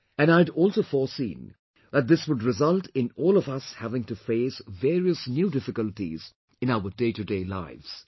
And I had also foreseen that this would result in all of us having to face various new difficulties in our daytoday lives